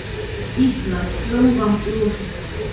Íslandi, Blómvang í Mosfellssveit.